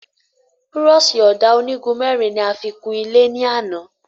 Búrọ̀ṣì Ọ̀dà onígun mẹ́rin ni a fi kun ilé ní àná